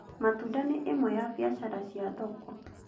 Matuda nĩ ĩmwe ya biacara cia thoko